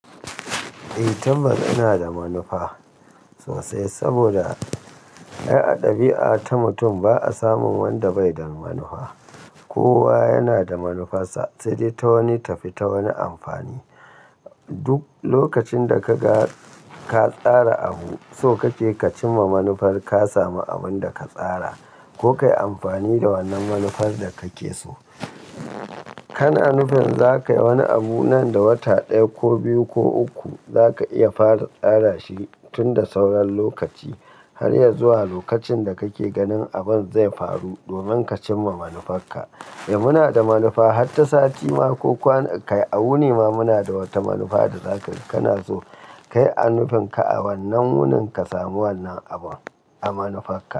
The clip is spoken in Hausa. Eh, tabbas ina da manufa sosai saboda yana a ɗabi'a ta mutum ba a samun wanda bai da manufa. Kowa yana da manufarsa sai dai ta wani tafi ta wani amfani. Duk lokacin da ka ga ka tsara abu, so kake ka cimma manufar ka sami abun da ka tsara ko ka yi amfani da wannan manufar da kake so. Kana nufin za ka yi wani abu nan da wata ɗaya ko biyu ko uku za ka iya fara tsara shi tun da sauran lokaci har ya zuwa lokacin da kake ganin abun zai faru domin ka cimma manufarka. Eh, muna da manufa har ta sati ma ko kwana ka a wuni ma muna da wata manufa da zaka kana so ka yi a nufinka a wannan munin ka samu wannan abu a manufarka.